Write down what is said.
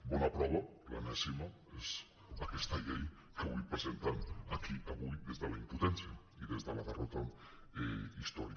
bona prova l’enèsima és aquesta llei que avui presenten aquí des de la impotència i des de la derrota històrica